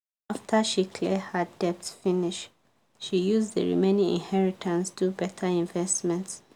after she clear her debt finish she use the remaining inheritance do better investment.